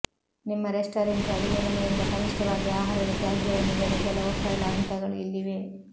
ನಿಮ್ಮ ರೆಸ್ಟಾರೆಂಟ್ ಅಡಿಗೆಮನೆಯಿಂದ ಕನಿಷ್ಠವಾಗಿ ಆಹಾರದ ತ್ಯಾಜ್ಯವನ್ನು ಇಡಲು ಕೆಲವು ಸರಳ ಹಂತಗಳು ಇಲ್ಲಿವೆ